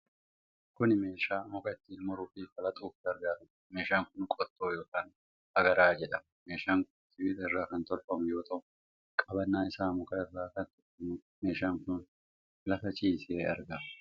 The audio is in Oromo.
Kun meeshaa muka ittiin muruu fi falaxuuf gargaaarudha. Meeshaan kun qottoo yookiin agaraa jedhama. Meeshaan kun sibiila irraa kan tolfamu yoo ta'u, qabannaan isaa muka irraa kan tolfamuudha. Meeshaan kun lafa ciisee argama.